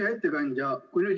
Hea ettekandja!